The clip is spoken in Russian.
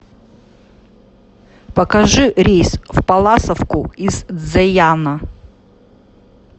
покажи рейс в палласовку из цзеяна